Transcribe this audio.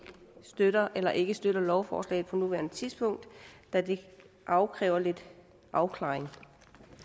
støtter eller ikke støtter lovforslaget på nuværende tidspunkt da det kræver lidt afklaring